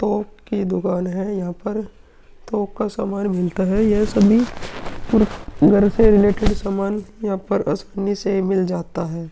थोक की दुकान है। यहाँ पर थोक का सामान मिलता है। यह सभी पुर घर से रिलेटेड सामान यहाँ पर आसानी से मिल जाता है।